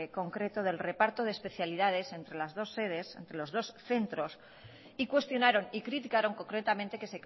concretos del reparto de especialidades entre las dos sedes entre los dos centros y cuestionaron y criticaron concretamente que